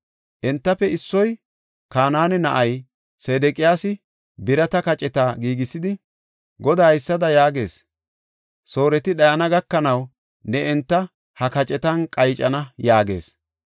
Entafe issoy, Kanaane na7ay Sedeqiyaasi birata kaceta giigisidi, “Goday haysada yaagees; ‘Sooreti dhayana gakanaw ne enta ha kacetan qaycana’ ” yaagis.